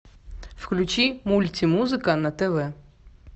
включи мультимузыка на тв